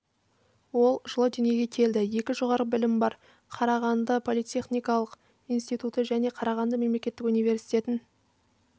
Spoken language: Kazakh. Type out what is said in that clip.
ол жылы дүниеге келген екі жоғары білім бар қарағанды политехникалық инситутын және қарағанды мемлекеттік университетін